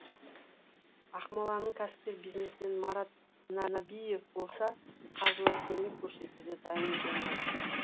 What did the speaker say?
ақмолалың кәсіпкер бизнесмен марат нәбиев болса қаржылай көмек көрсетуге дайын екенін айтты